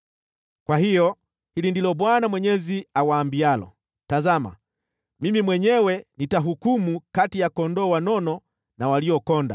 “ ‘Kwa hiyo, hili ndilo Bwana Mwenyezi awaambialo: Tazama, mimi mwenyewe nitahukumu kati ya kondoo wanono na waliokonda.